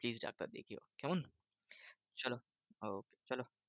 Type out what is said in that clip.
Please doctor দেখিও কেমন? চলো okay চলো